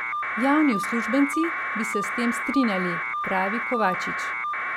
Javni uslužbenci bi se s tem strinjali, pravi Kovačič.